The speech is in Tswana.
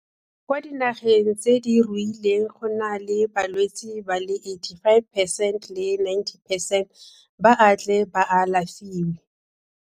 Kwa dinageng tse di ruileng gone balwetse ba le 85 percent le 90 percent ba a tle ba alafiwe.